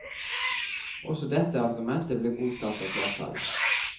Også dette argumentet ble godtatt av flertallet.